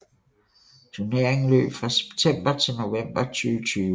Turneringen løb fra september til november 2020